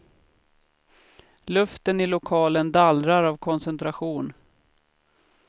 Luften i lokalen dallrar av koncentration.